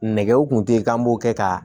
Nɛgɛw kun tɛ yen k'an b'o kɛ ka